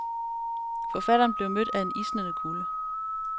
Forfatteren blev mødt af en isnende kulde.